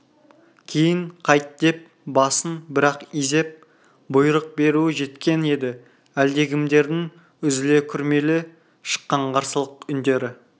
кейін қайт деп басын бір-ақ изеп бұйрық беруі жеткен еді әлдекімдердің үзіле күрмеле шыққан қарсылық үндері